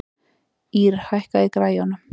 Ýrr, hækkaðu í græjunum.